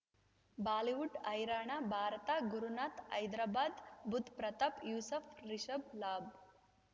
Bollywood ಹೈರಾಣ ಭಾರತ ಗುರುನಾಥ ಹೈದರಾಬಾದ್ ಬುಧ್ ಪ್ರತಾಪ್ ಯೂಸುಫ್ ರಿಷಬ್ ಲಾಭ್